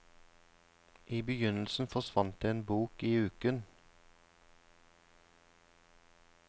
I begynnelsen forsvant det en bok i uken.